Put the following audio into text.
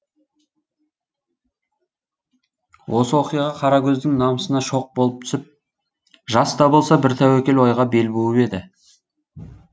осы оқиға қаракөздің намысына шоқ болып түсіп жас та болса бір тәуекел ойға бел буып еді